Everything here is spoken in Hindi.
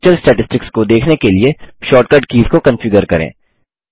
लेक्चर स्टैटिस्टिक्स को देखने के लिए शॉर्टकट कीज़ को कन्फिगर करें